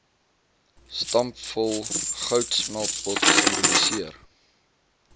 stampvol goudsmeltpot simboliseer